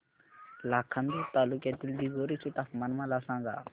लाखांदूर तालुक्यातील दिघोरी चे तापमान मला सांगा